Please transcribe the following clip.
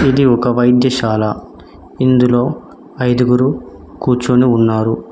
ఇది ఒక వైద్యశాల ఇందులో ఐదుగురు కూర్చొని ఉన్నారు